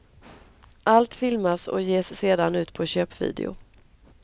Allt filmas och ges sedan ut på köpvideo.